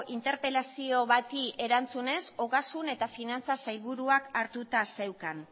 interpelazio bati erantzunez ogasun eta finantza sailburuak hartuta zeukan